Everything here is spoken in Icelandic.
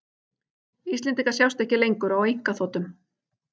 Íslendingar sjást ekki lengur á einkaþotum